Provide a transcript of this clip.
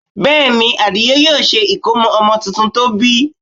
Bẹ́ẹ̀ ni, Àdìó yóò ṣe ìkómọ ọmọ tuntun tó bí